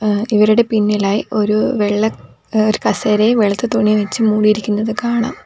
ഏഹ് ഇവരുടെ പിന്നിലായി ഒരു വെള്ള ഒരു കസേരയും വെളുത്ത തുണി വെച്ച് മൂടിയിരിക്കുന്നത് കാണാം.